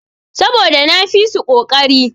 Saboda na fisu koƙari.